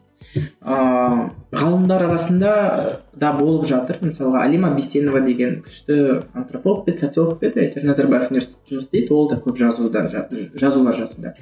ыыы ғалымдар арасында да болып жатыр мысалға алима бейсенова деген күшті антрополог па еді социолог ба еді назарбаев университетінде жұмыс істейді ол да көп жазуда жазулар жазуда